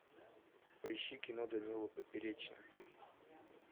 поищи кино данила поперечный